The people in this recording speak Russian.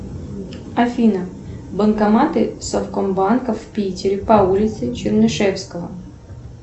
афина банкоматы совкомбанка в питере по улице чернышевского